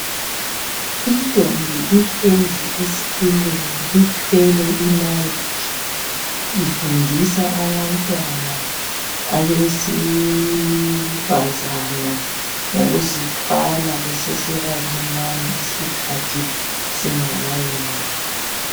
Intombi ihlezi esitulweni ithwele I mic ifundisa abantwana abesifazana ngokuzithwala bebesebancinyane isikhathi singakayeneli